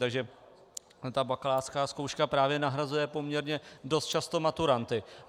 Takže ta bakalářská zkouška právě nahrazuje poměrně dost často maturanty.